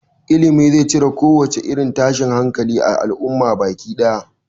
Ilimi zai cire kowace irin tashin hankali a al'umma baki ɗaya